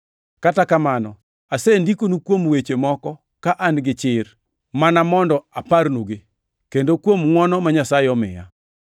Kata kamano, asendikonu kuom weche moko ka an gi chir mana mondo aparnugi, kendo kuom ngʼwono ma Nyasaye omiya,